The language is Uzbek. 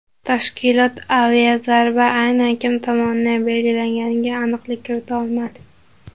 Tashkilot aviazarba aynan kim tomonidan berilganiga aniqlik kirita olmadi.